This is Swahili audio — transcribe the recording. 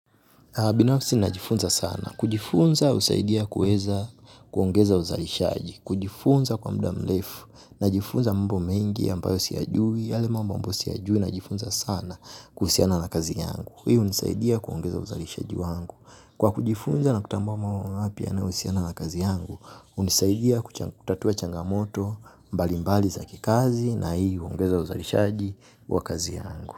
Binafsi ninajifunza sana. Kujifunza usaidia kuweza kuongeza uzalishaji. Kujifunza kwa mda mlefu. Najifunza mambo mengi ambayo siyajui. Yale mambo ambayo siyajui. Najifunza sana kuhusiana na kazi yangu. Hii unisaidia kuongeza uzalishaji wangu. Kwa kujifunza na kutambua mambo mapya yanaohusiana na kazi yangu. Unisaidia kutatua changamoto mbali mbali zaki kazi na hii uongeza uzalishaji wa kazi yangu.